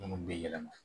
Munnu be yɛlɛma